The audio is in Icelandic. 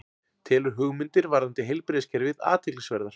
Telur hugmyndir varðandi heilbrigðiskerfið athyglisverðar